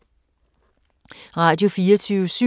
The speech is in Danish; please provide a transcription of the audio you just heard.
Radio24syv